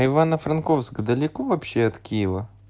ивано-франковск далеко вообще от киева